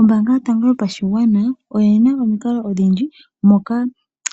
Ombaanga yotango yopashigwana oyina omikalo odhindji, moka